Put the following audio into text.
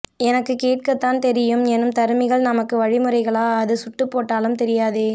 எனக்கு கேட் கத்தான் தெரியும் எனும் தருமிகள் ந்மக்கு வ்ழிமுறகளா அது சுட்டுப் போட்டாலும் தெரியாதே